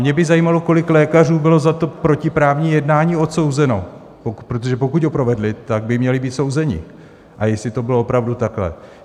Mě by zajímalo, kolik lékařů bylo za to protiprávní jednání odsouzeno, protože pokud ho provedli, tak by měli být souzeni, a jestli to bylo opravdu takhle.